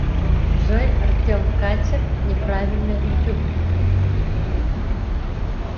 джой артем качер неправильно ютуб